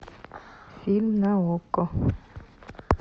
фильм на окко